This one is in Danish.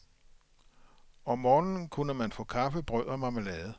Om morgenen kunne man få kaffe, brød og marmelade.